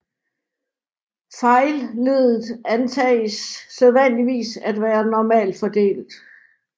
Fejlleddet antages sædvanligvis at være normalfordelt